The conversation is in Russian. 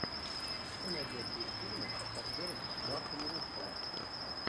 что найдется из фильмов с актером марком руффало